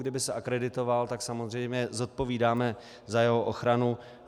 Kdyby se akreditoval, tak samozřejmě zodpovídáme za jeho ochranu.